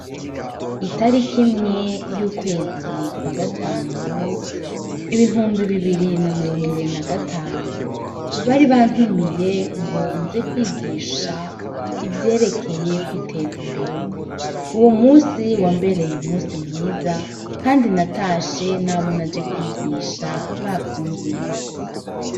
Itarik’imwe y'ukwezikwa gatanu ibihumbi bibiri na mirongo ibiri na gatanu bari bantumiye ngo nze kwigisha ivyerekeye kwiteza imbere uwo musi wambereye umusi mwiza, kandi natashe n'abona je kwigiya sha ba vyumvise.